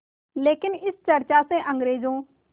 लेकिन इस चर्चा से अंग्रेज़ों